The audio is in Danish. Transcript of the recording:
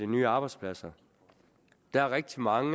nye arbejdspladser der er rigtig mange